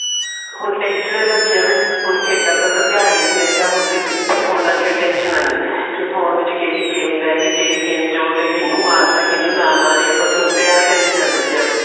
ਹੁਣ tension ਹੈ ਬੱਚਿਆ ਨੂੰ ਹੁਣ ਖੇਡਾਂ ਵੱਲ ਤਾਂ ਧਿਆਨ ਹੀ ਨਹੀਂ ਹੈਗਾ ਹੁਣ ਤਾਂ ਫੋਨਾ ਦੀਆਂ tension ਆ ਨੇ ਕੇ phone ਵਿੱਚ ਕਿਹੜੀ game ਰਹਿ ਗੀ ਕਿਹੜੀ game ਚ ਉਹਨੇ ਕਿੰਨੂ ਮਾਰਤਾ ਕਿੰਨੂ ਨਾ ਮਾਰਿਆ ਬਸ ਉਲਟਾ ਆਹ tension ਆ ਨੇ ਬੱਚਿਆ ਨੂੰ